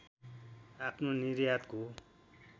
आफ्नो निर्यातको